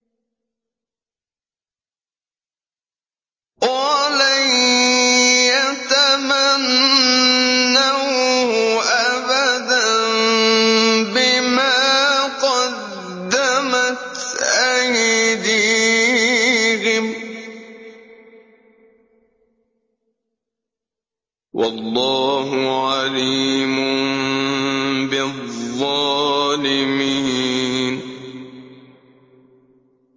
وَلَن يَتَمَنَّوْهُ أَبَدًا بِمَا قَدَّمَتْ أَيْدِيهِمْ ۗ وَاللَّهُ عَلِيمٌ بِالظَّالِمِينَ